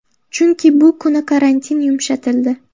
Chunki bu kuni karantin yumshatildi.